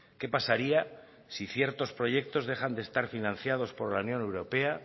qué pasaría si ciertos proyectos dejan estar financiados por la unión europea